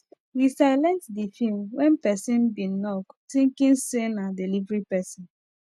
we silent the film when person bin knock thinking say na delivery person